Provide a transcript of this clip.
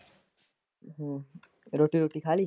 ਹੂ ਰੋਟੀ ਰੂਟੀ ਖਾ ਲਈ।